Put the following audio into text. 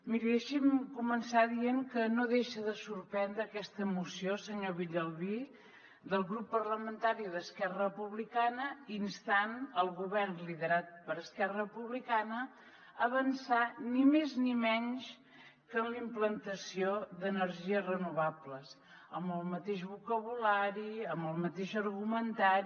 miri deixi’m començar dient que no deixa de sorprendre aquesta moció senyor villalbí del grup parlamentari d’esquerra republicana instant el govern liderat per esquerra republicana a avançar ni més ni menys que en la implantació d’energies renovables amb el mateix vocabulari amb el mateix argumentari